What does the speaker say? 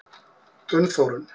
Gunnþórunn